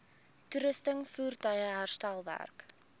toerusting voertuie herstelwerk